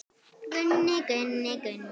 Gunni, Gunni, Gunni.